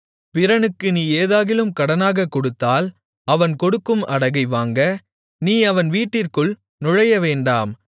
பிறனுக்கு நீ ஏதாகிலும் கடனாகக் கொடுத்தால் அவன் கொடுக்கும் அடகை வாங்க நீ அவன் வீட்டிற்குள் நுழையவேண்டாம்